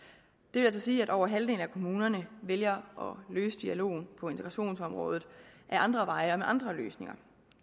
vil altså sige at over halvdelen af kommunerne vælger at løse dialogen på integrationsområdet ad andre veje og med andre løsninger